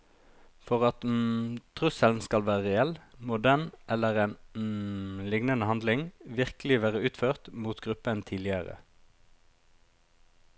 For at trusselen skal være reell, må den eller en lignende handling virkelig være utført mot gruppen tidligere.